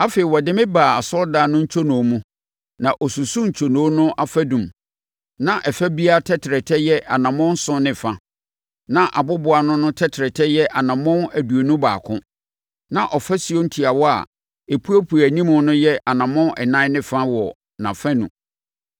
Afei ɔde me baa asɔredan no ntwonoo mu, na ɔsusuu ntwonoo no afadum, na ɛfa biara tɛtrɛtɛ yɛ anammɔn nson ne fa. Na aboboano no tɛtrɛtɛ yɛ anammɔn aduonu baako. Na afasuo ntiawa a epuepue anim no yɛ anammɔn ɛnan ne fa wɔ nʼafanu.